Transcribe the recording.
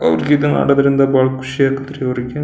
ಅವ್ರಿಗಿದ ಮಾಡೋದ್ರಿಂದ ಬಹಳ ಖುಷಿ ಆಗತೈತ್ರಿ ಅವ್ರಿಗೆ.